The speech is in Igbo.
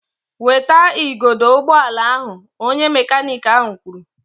Weta igodo ụgbọala ahụ! Onye mekaniiki ahụ kwuru